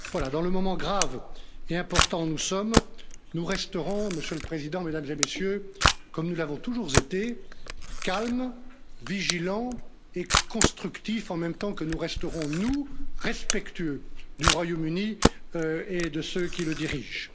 Dans le moment grave et important où nous sommes, nous resterons, Monsieur le président, Mesdames et Messieurs, comme nous l'avons toujours été calmes, vigilants et constructifs en même temps que nous resterons, nous, respectueux du Royaume Uni et de ceux qui le dirigent.